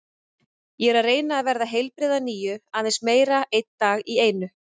Ég er að reyna að verða heilbrigð að nýju, aðeins meira, einn dag í einu.